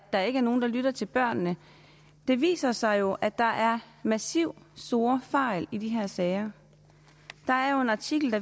der ikke er nogen der lytter til børnene det viser sig jo at der er massive store fejl i de her sager der er jo en artikel